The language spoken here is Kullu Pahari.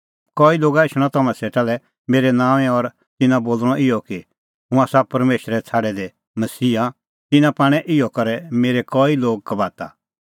कई लोगा एछणअ तम्हां सेटा लै मेरै नांओंऐं और तिन्नां बोल़णअ इहअ कि हुंह आसा परमेशरै छ़ाडै दै मसीहा तिन्नां पाणै इहअ करै मेरै कई लोग धोखै दी